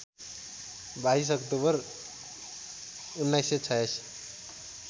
२२ अक्टोबर १९८६